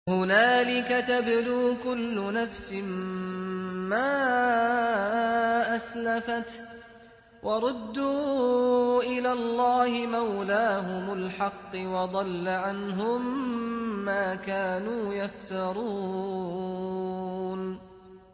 هُنَالِكَ تَبْلُو كُلُّ نَفْسٍ مَّا أَسْلَفَتْ ۚ وَرُدُّوا إِلَى اللَّهِ مَوْلَاهُمُ الْحَقِّ ۖ وَضَلَّ عَنْهُم مَّا كَانُوا يَفْتَرُونَ